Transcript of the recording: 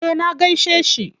Eh na gaishe shi.